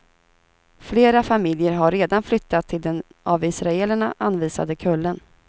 Flera familjer har redan flyttat till den av israelerna anvisade kullen.